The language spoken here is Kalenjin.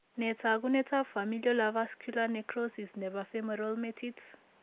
Nee taakunetaab familial avascular necrosis neebo femoral metit.